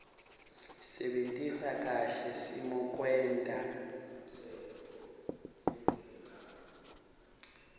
sebentisa kahle simokwenta